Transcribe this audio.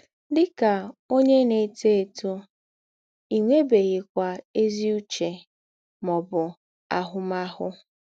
Dị kà ǒnyé na - étò étò, ì nwèbèghịkwà ézì ǔchè mà ọ̀bụ̀ àhū̀màhụ̀.